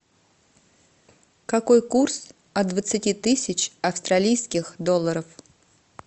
какой курс от двадцати тысяч австралийских долларов